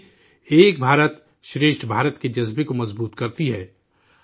یہ بھی 'ایک بھارت شریشٹھ بھارت' کے جذبہ کو مضبوط کرتی ہے